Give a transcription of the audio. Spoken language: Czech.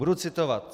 Budu citovat.